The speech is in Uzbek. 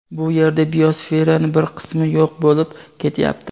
bu yerda biosferani bir qismi yo‘q bo‘lib ketyapti.